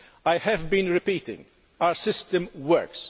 I have been repeating our system works.